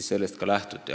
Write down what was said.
Ja sellest ka lähtuti.